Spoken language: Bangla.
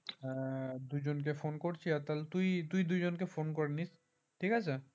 হ্যাঁ তাহলে দুজনকে ফোন করছি তুই দুজনকে ফোন করে নিস ঠিক আছে